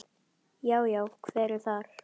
Já. já, hver er þar?